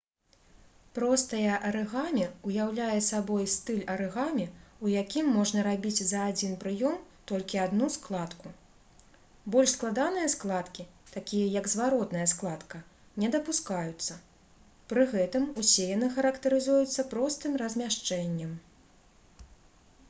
простае арыгамі ўяўляе сабой стыль арыгамі у якім можна рабіць за адзін прыём толькі адну складку больш складаныя складкі такія як зваротная складка не дапускаюцца пры гэтым усе яны характарызуюцца простым размяшчэннем